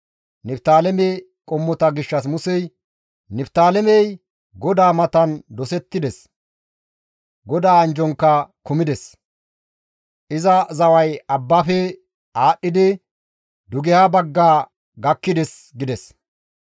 Niftaaleme qommota gishshas Musey, «Niftaalemey GODAA matan dosettides; GODAA anjjonka kumides; iza zaway abbaafe aadhdhidi dugeha bagga gakkides» gides.